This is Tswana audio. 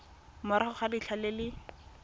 morago ga letlha le le